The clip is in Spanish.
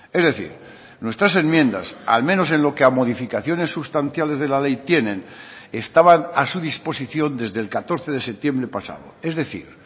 es decir nuestras enmiendas al menos en lo que a modificaciones sustanciales de la ley tienen estaban a su disposición desde el catorce de septiembre pasado es decir